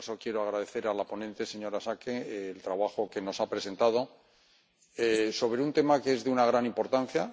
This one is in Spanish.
En todo caso, quiero agradecer a la ponente, la señora Schaake, el trabajo que nos ha presentado sobre un tema que es de una gran importancia.